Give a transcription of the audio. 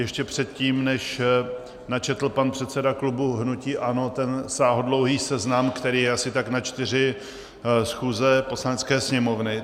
Ještě předtím, než načetl pan předseda klubu hnutí ANO ten sáhodlouhý seznam, který je asi tak na čtyři schůze Poslanecké sněmovny.